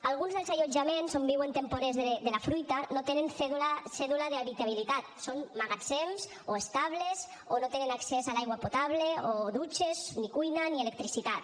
alguns dels allotjaments on viuen temporers de la fruita no tenen cèdula d’habitabilitat són magatzems o estables o no tenen accés a l’aigua potable o dutxes ni cuina ni electricitat